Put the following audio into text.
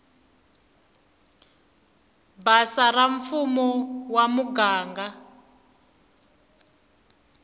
basa ra mfumo wa muganga